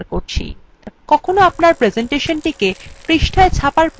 কখনো আপনার প্রেসেন্টেশনটি পৃষ্ঠায় ছাপার প্রয়োজন হতে পারে